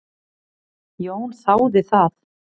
Jón þáði það.